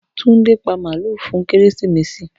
Tunde pa maalu fun keresimesi.